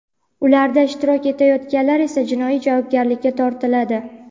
ularda ishtirok etayotganlar esa jinoiy javobgarlikka tortiladi.